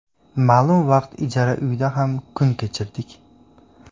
Ma’lum vaqt ijara uyda ham kun kechirdik.